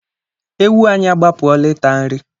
Ewu anyị agbapụọla ịta nri